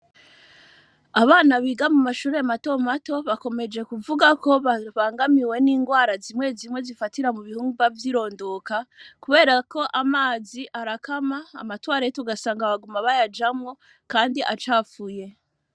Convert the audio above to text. Abana biga mu mashure mato mato, bakomeje kuvugako babangamiwe n'ingwara zimwe zimwe zifatira mu bihimba vyirondoka, kuberako amazi arakama, amatwarete ugasanga baguma bayajamwo kandi acafuye.